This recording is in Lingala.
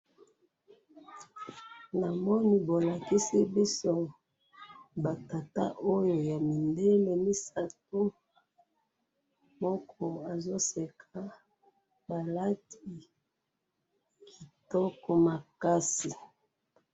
na moni bolakisi biso ba tata oyo ya mindele misatu moko azo seka ba lati kitoko makasi